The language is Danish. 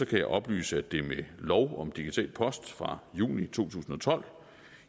kan jeg oplyse at det med lov om digital post fra juni to tusind og tolv